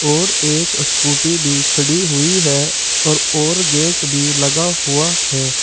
और एक स्कूटी भी खड़ी हुई है और और गेट भी लगा हुआ है।